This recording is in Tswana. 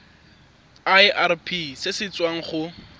irp se se tswang go